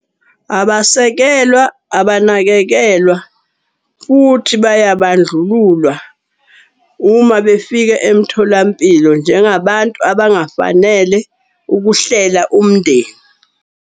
Abasekelwa, abanakekelwa futhi bayabandlululwa uma befika emtholampilo. Njengabantu abangafanele ukuhlela umndeni.